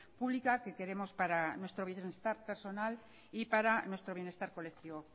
pública que queremos para nuestro bienestar personal y para nuestro bienestar colectivo